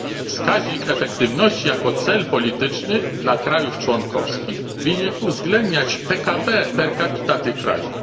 Wskaźnik efektywności jako cel polityczny dla państw członkowskich winien uwzględniać PKB per capita tych państw.